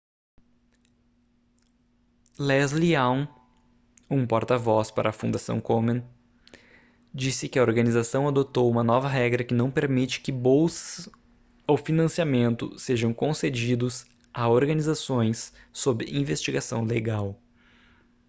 leslie aun um porta-voz para a fundação komen disse que a organização adotou uma nova regra que não permite que bolsas ou financiamento sejam concedidos a organizações sob investigação legal